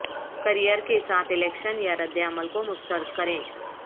career کے ساتھ election یا ردعمل کو مسترد کریں